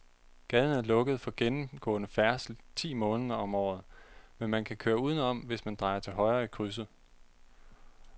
Gaden er lukket for gennemgående færdsel ti måneder om året, men man kan køre udenom, hvis man drejer til højre i krydset.